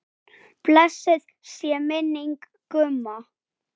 Blessuð sé minning Gumma.